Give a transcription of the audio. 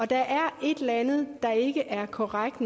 der er et eller andet der ikke er korrekt